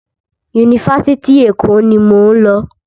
Yunifásitì Èkó ni mò ń lọ.